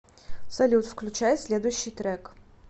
салют включай следующий трек